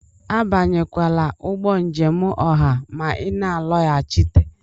Abanyekwala ụgbọ njem ọha ma ị na-alọghachite!